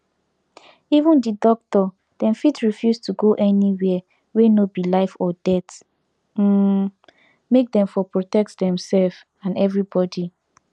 even the doctor dem fit refuse to go anywhere wey no be life or death um make dem for protect themselves and everybody